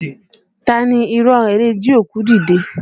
Taa ni irọ́ ọ rẹ̀ le jí òkú dìde?